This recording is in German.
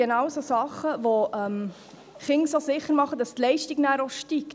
Genau solche Dinge machen die Kinder so sicher, dass nachher die Leistung steigt.